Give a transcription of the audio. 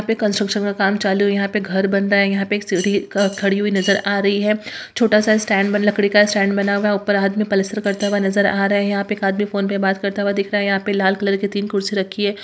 यहां पे कन्स्ट्रक्शन का काम चालू है यहां पे घर बन रहा है यहां पे एक सीढ़ी खड़ी हुई नजर आ रही है छोटा-सा स्टैंड लकड़ी का स्टैंड बना हुआ है ऊपर आदमी पलस्तर करता हुआ नजर आ रहे है यहां पे एक आदमी फोन पे बात करते हुए दिख रहा है यहां पे लाल कलर की तीन कुर्सी रखी हैं।